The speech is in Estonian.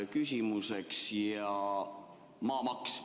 Küsin maksurahu ja maamaksu kohta.